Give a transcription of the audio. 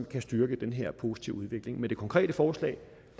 kan styrke den her positive udvikling men det konkrete forslag